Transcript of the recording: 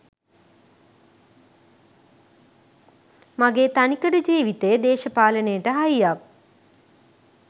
මගේ තනිකඩ ජීවිතේ දේශපාලනයට හයියක්.